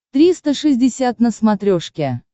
триста шестьдесят на смотрешке